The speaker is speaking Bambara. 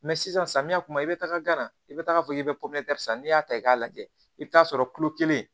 sisan samiya kuma i bɛ taaga gana i bɛ taa fɔ k'i bɛ san n'i y'a ta i k'a lajɛ i bɛ t'a sɔrɔ kulo kelen